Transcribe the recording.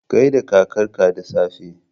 Gai da kakarka da safe!